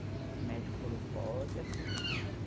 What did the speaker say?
O médico falou, pode assistir.